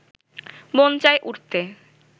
মন চাই উড়তে